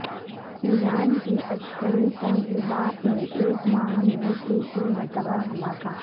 ایران کی عسکری تنصیبات میں ایک ماہ میں تیسری مرتبہ دھماکہ